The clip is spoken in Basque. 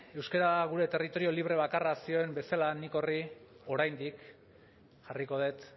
euskara gure territorio libre bakarra zioen bezala nik horri oraindik jarriko dut